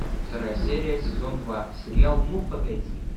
вторая серия сезон два сериал ну погоди